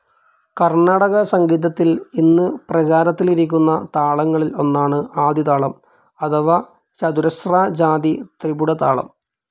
കർണാടക സംഗീതത്തിൽ ഇന്ന് പ്രെചാരത്തിലിരിക്കുന്ന താളങ്ങളിൽ ഒന്നാണു ആദിതാളം അഥവാ ചതുരാഷ്രാജാധി ത്രിപുടതാളം.